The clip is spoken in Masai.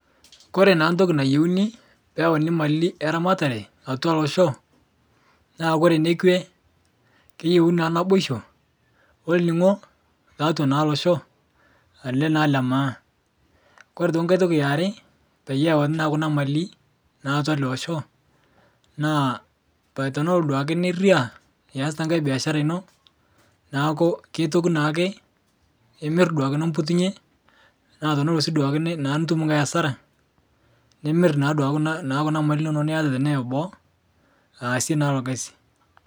Kore naa ntoki nayeuni peyeuni mali eramatare atwa losho, naa kore nekwe, keyeuni naa naboisho olning'o taatwa naa losho ale naa lemaa, kore toki nkae toki eare, peyauni naa kuna mali naa atwa ale osho, naa tenelo duake niraa eyasita nkae beashara ino, naaku keitoki naake, imir duake niputunye, naa tenelo sii duake nnaa nitum nkae asara, nimir naa duake kuna naa kuna mali inono neata tene eboo, aase naa ilo gasi.